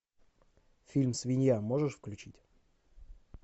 фильм свинья можешь включить